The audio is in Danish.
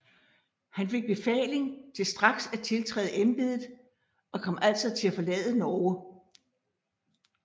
Han fik befaling til straks at tiltræde embedet og kom altså til at forlade Norge